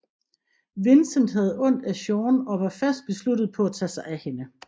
Vincent havde ondt af Sien og var fast besluttet på at tage sig af hende